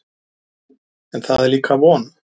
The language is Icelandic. En það er líka von.